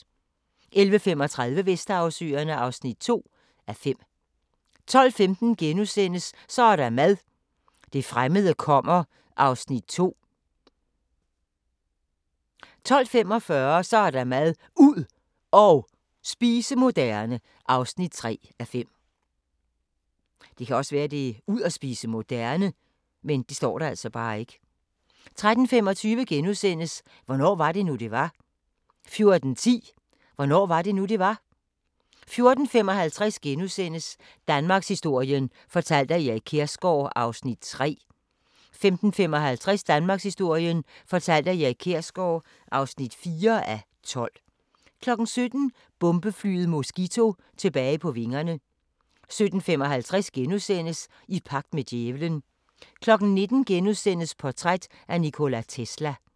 11:35: Vesterhavsøerne (2:5) 12:15: Så er der mad – det fremmede kommer (2:5)* 12:45: Så er der mad – ud og spise moderne (3:5) 13:25: Hvornår var det nu, det var? * 14:10: Hvornår var det nu, det var? 14:55: Danmarkshistorien fortalt af Erik Kjersgaard (3:12)* 15:55: Danmarkshistorien fortalt af Erik Kjersgaard (4:12) 17:00: Bombeflyet Mosquito tilbage på vingerne 17:55: I pagt med djævelen * 19:00: Portræt af Nikola Tesla *